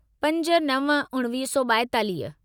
पंज नव उणिवीह सौ ॿाएतालीह